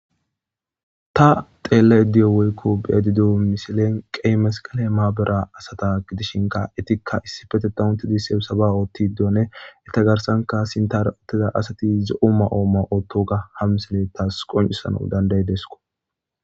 ta xeella iddiyo woykko be'adido misilen qey masqale maabera asata gidishinka etikka issifetetan untidi sibisaba oottidone etagarsanka sintara utteza asati zo'o ma'o ma'iotto ga hamilesine tas qoncisano danday desko